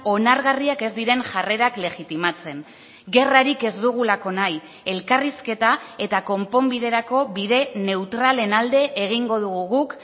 onargarriak ez diren jarrerak legitimatzen gerrarik ez dugulako nahi elkarrizketa eta konponbiderako bide neutralen alde egingo dugu guk